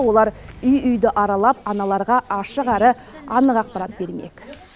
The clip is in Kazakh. олар үй үйді аралап аналарға ашық әрі анық ақпарат бермек